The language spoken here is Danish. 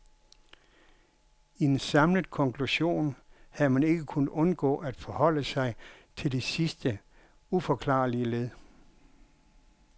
I en samlet konklusion havde man ikke kunnet undgå at forholde sig til det sidste uforklarlige led.